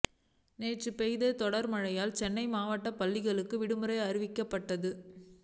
நேற்று பெய்த தொடர்மழையால் சென்னை மாவட்ட பள்ளிகளுக்கும் விடுமுறை அறிவிக்கப்பட்டது